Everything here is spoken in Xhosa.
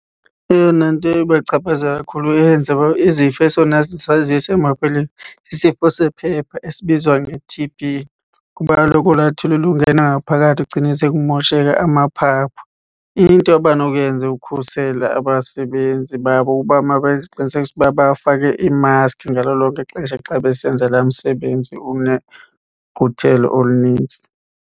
Eyona nto ibachaphazela kakhulu eyenza uba izifo esona sisaziyo sisifo sephepha esibizwa nge-T_B. Kuba kaloku olaa thuli lungena ngaphakathi kugcine sekumosheka amaphaphu. Into abanokuyenza ukhusela abasebenzi babo uba mabenze isiqinisekiso ukuba bafake iimaskhi ngalo lonke ixesha xa besenza laa msebenzi unegquthelo olunintsi.